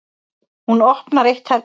Hún opnar eitt herbergjanna.